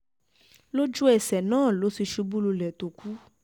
lójú-ẹsẹ̀ náà ló ti ṣubú lulẹ̀ tó kù kù